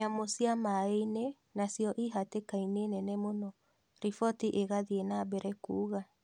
Nyamũ cia maĩini nacio ihatĩkaini nene mũno riboti ĩkathii nambere kuuga